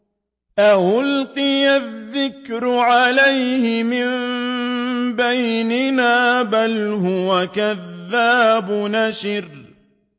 أَأُلْقِيَ الذِّكْرُ عَلَيْهِ مِن بَيْنِنَا بَلْ هُوَ كَذَّابٌ أَشِرٌ